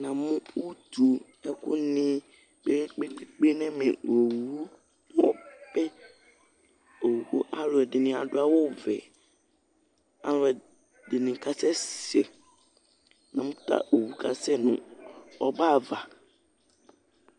Namu ʋtu ʋtu ɛku ni kpe kpe kpe nʋ ɛmɛ Owu Alʋɛdìní adu awu vɛ Alʋɛdìní kasɛsɛ Namu ta owu kasɛsɛ nʋ ɔbɛ ava